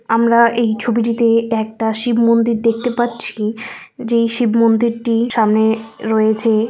আমরা এই ছবিটিতে একটা শিব মন্দির দেখতে পাচ্ছি যেই শিব মন্দিরটি সামনে রয়েছে।